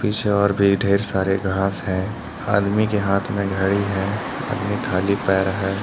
पीछे और भी ढेर सारे घास हैं आदमी के हाथ में घड़ी है आदमी खाली पैर है।